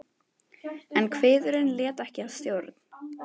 En kviðurinn lét ekki að stjórn.